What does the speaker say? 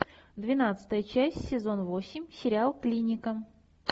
двенадцатая часть сезон восемь сериал клиника